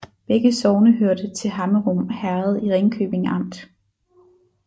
Begge sogne hørte til Hammerum Herred i Ringkøbing Amt